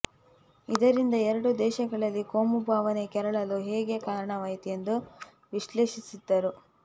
ಇದರಿಂದ ಎರಡೂ ದೇಶಗಳಲ್ಲಿ ಕೋಮುಭಾವನೆ ಕೆರಳಲು ಹೇಗೆ ಕಾರಣವಾಯಿತು ಎಂದು ವಿಶ್ಲೇಷಿಸಿದ್ದರು